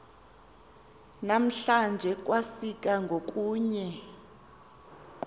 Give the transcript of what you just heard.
namhlanje kwasika ngokunye